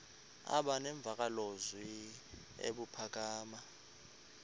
aba nemvakalozwi ebuphakama